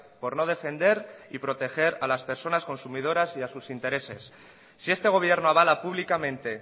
por no defender y proteger a las personas consumidoras y a sus intereses si este gobierno avala públicamente